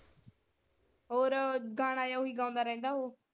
ਹੋਰ ਗਾਣਾ ਜੇਹਾ ਓਹੀ ਗਾਉਂਦਾ ਰਹਿੰਦਾ ਉਹ।